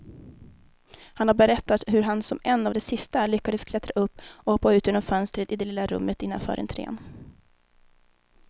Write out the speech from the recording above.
Han har berättat hur han som en av de sista lyckas klättra upp och hoppa ut genom fönstret i det lilla rummet innanför entrén.